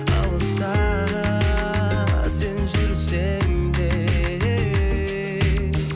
алыста сен жүрсең де ей